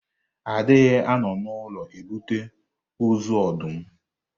A dịghị anọ n'ụlọ ebute ozu ọdụm.